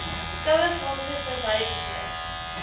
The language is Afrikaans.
kouefronte verby beweeg